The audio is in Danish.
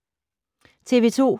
TV 2